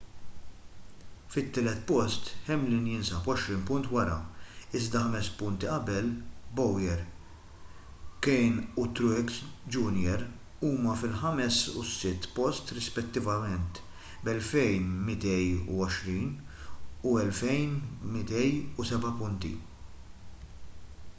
fit-tielet post hamlin jinsab għoxrin punt wara iżda ħames punti qabel bowyer. kahne u truex jr. huma fil-ħames u s-sitt post rispettivament b’2,220 u 2,207 punt